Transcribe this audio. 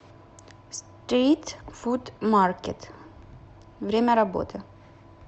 стрит фуд маркет время работы